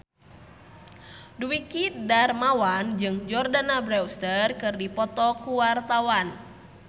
Dwiki Darmawan jeung Jordana Brewster keur dipoto ku wartawan